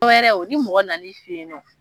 wɛrɛ ni mɔgɔ na n'i feyinɔ.